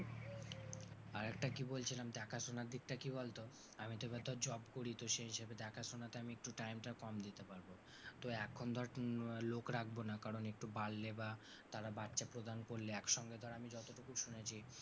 আর একটা কি বলছিলাম দেখাশোনার দিকটা কি বলতো আমি তো কোথাও job করি তো সেই হিসাবে দেখাশোনাতে আমি একটু time টা কম দিতে পারবো। তো এখন ধর লোক রাখবো না, কারণ একটু বাড়লে বা তারা বাচ্চা প্রদান করলে একসঙ্গে ধর আমি যতটুকু শুনেছি,